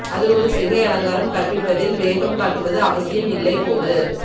அது ஒரு சிகை அலங்காரம் கற்பிப்பதில் வேகம் காட்டுவது அவசியம் இல்லை போது